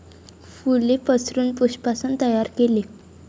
फूले पसरून पुष्पासन तैयार केले.